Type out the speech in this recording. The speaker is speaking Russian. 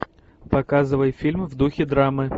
показывай фильм в духе драмы